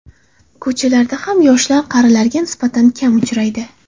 Ko‘chalarda ham yoshlar qarilarga nisbatan kam uchraydi.